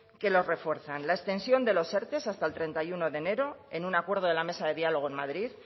que los refuerzan la extensión de los erte hasta el treinta y uno de enero en un acuerdo de la mesa de diálogo en madrid